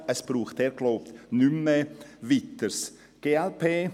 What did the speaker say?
Es braucht, so glaube ich, nichts Weiteres mehr.